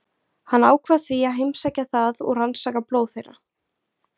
Hann ákvað því að heimsækja það og rannsaka blóð þeirra.